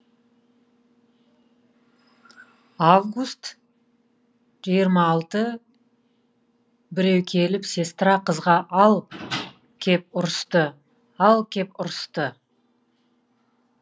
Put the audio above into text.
август жиырма алты біреу келіп сестра қызға ал кеп ұрысты ал кеп ұрысты